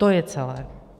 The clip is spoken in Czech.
To je celé.